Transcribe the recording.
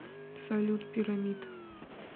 салют пирамид